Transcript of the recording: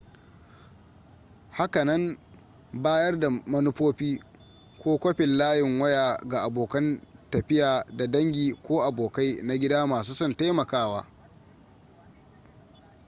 hakanan bayar da manufofi / kwafin layin waya ga abokan tafiya da dangi ko abokai na gida masu son taimakawa